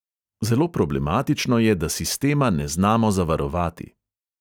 Zelo problematično je, da sistema ne znamo zavarovati.